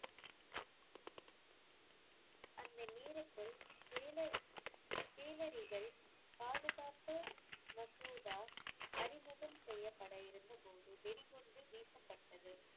அந்த நேரத்தில் கேல~ கேலரிகள் பாதுகாப்பு மசோதா அறிமுகம் செய்யப்பட இருந்தபோது வெடிகுண்டு வீசப்பட்டது.